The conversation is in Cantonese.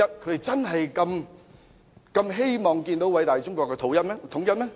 他真的如此希望偉大中國統一嗎？